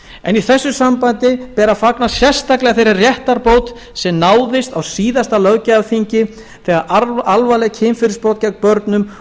en í þessu sambandi ber að fagna sérstaklega þeirri réttarbót sem náðist á síðasta löggjafarþingi þegar alvarleg kynferðisbrot gegn börnum